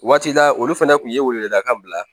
Waati la olu fɛnɛ kun ye weleda kan bila